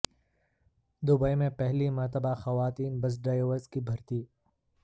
Dubai میں پہلی مرتبہ خواتین بس ڈرائیورز کی بھرتی